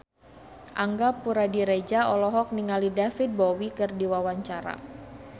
Angga Puradiredja olohok ningali David Bowie keur diwawancara